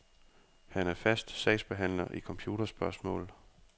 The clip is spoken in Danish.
Han er fast sagsbehandler i computerspørgsmål.